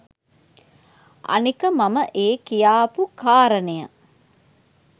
අනික මම ඒ කියාපු කාරණය